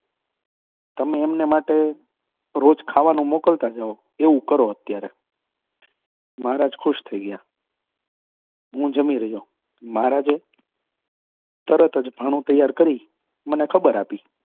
તમે એમને માટે રોજ ખાવાનું મોકલતા જાઓ. એવુ કરો અત્યારે મહારાજ ખુશ થઈ ગયા. હું જમી રહ્યો. મહારાજે તરત જ ભાણું તૈયાર કરી મને ખબર આપી.